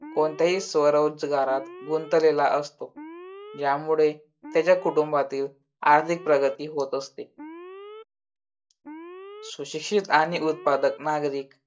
कोणत्याही स्वरोजगारात गुंतलेला असतो. यामुळे त्याच्या कुटुंबातील आर्थिक प्रगती होत असते. सुशिक्षित आणि उत्पादक नागरिक